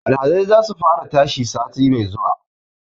Alhazai za su fara tashi sati mai zuwa